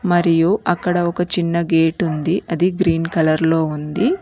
మరియు అక్కడ ఒక చిన్న గేటుంది అది గ్రీన్ కలర్లో ఉంది.